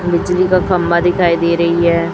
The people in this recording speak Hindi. बिजली का खंबा दिखाई दे रही है।